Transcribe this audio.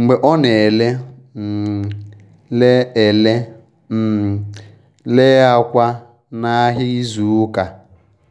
mgbe ọ na ele um le ele um le akwa n’ahịa izu ụka.